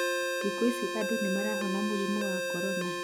thikũ ici andũ nĩ marahona mũrimũ wa korona